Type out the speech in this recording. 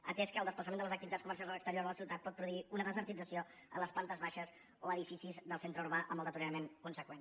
atès que el desplaçament de les activitats comercials a l’exterior de la ciutat pot produir una de·sertització a les plantes baixes o edificis del centre urbà amb el deteriorament consegüent